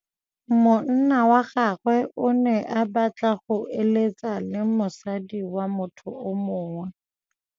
Monna wa gagwe o ne a batla go êlêtsa le mosadi wa motho yo mongwe.